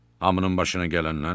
Hamının başına gələnlər.